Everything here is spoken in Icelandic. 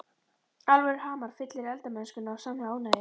Alvöru hamar fyllir eldamennskuna af sannri ánægju.